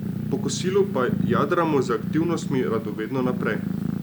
Po kosilu pa jadramo z aktivnostmi radovedno naprej.